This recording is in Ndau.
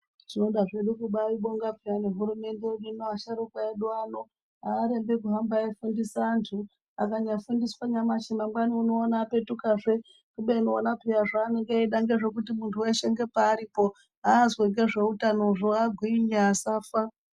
Tinoda zvedu kubaibonga payani hurumende yedu ino asharukwa edu ano aarembi kuhamba eifundise anyu akanyafundiswa nyamashi mangwani unoona apetukazve kubeni ona peya zvaanenge eida ngezvekuti muntu weshe ngepeari po azwe ngezveutano agwinye asafa.